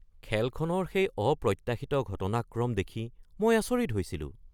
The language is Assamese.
খেলখনৰ সেই অপ্ৰত্যাশিত ঘটনাক্ৰম দেখি মই আচৰিত হৈছিলোঁ।